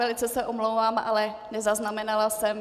Velice se omlouvám, ale nezaznamenala jsem.